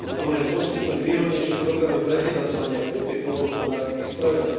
Po druhé, poskytnúť výhodnejšie programy pre financovanie a kúpu poľnohospodárskych strojov.